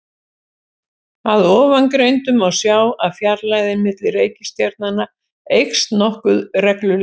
Af ofangreindu má sjá að fjarlægðin milli reikistjarnanna eykst nokkuð reglulega.